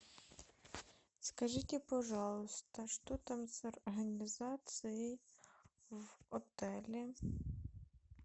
скажите пожалуйста что там с организацией в отеле